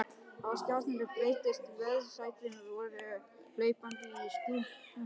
Á skjánum birtist vöðvastælt svört hlaupakona í spretthlaupi.